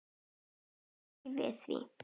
Við megum ekki við því.